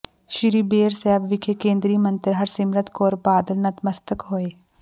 ਸ੍ਰੀ ਬੇਰ ਸਾਹਿਬ ਵਿਖੇ ਕੇਂਦਰੀ ਮੰਤਰੀ ਹਰਸਿਮਰਤ ਕੌਰ ਬਾਦਲ ਨਤਮਸਤਕ ਹੋਏ